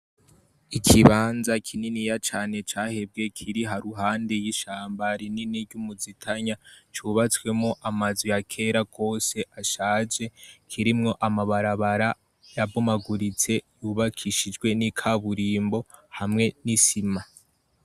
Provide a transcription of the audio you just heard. Ikibanza kininiya cane cahebwe Kiri haruguru iruhande yishamba rinini ryumuzitanya cyubatsemwo amazu yakera rwose ashaje kirimwo amabarabara yabomaguritse yubakishijwe nikaburimbo hamwe nisima.